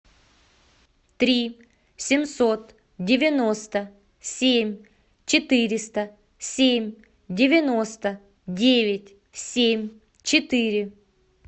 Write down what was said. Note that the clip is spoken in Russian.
три семьсот девяносто семь четыреста семь девяносто девять семь четыре